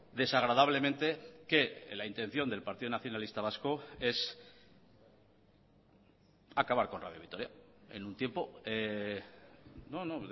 desagradablemente que la intención del partido nacionalista vasco es acabar con radio vitoria en un tiempo no no